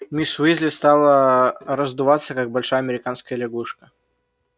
мисс уизли стала раздуваться как большая американская лягушка